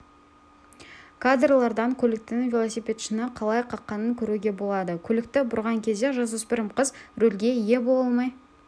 кадрлардан көліктің велосипедшіні қалай қаққанын көруге болады көлікті бұрған кезде жасөспірім қыз рөлге ие бола алмай